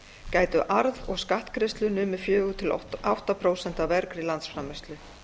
gætu arð og skattgreiðslur numið fjögur til átta prósent af vergri landsframleiðslu